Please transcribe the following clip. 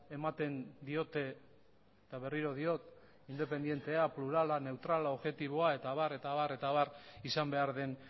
ematen diote eta berriro diot independientea plurala neutrala objetiboa eta abar eta abar eta abar izan behar den